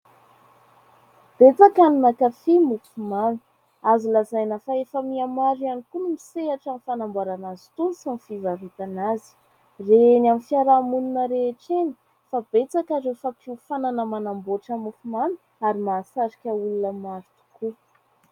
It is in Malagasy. Betsaka ny mankafy ny mofomamy. Azo lazaina fa efa miha maro ihany koa ny misehatra amin'ny fanamboarana azy itony sy ny fivarotana azy. Re eny amin'ny fiarahamonina rehetra eny, fa betsaka ary ireo fampiofanana manamboatra mofomamy ary mahasarika olona maro tokoa.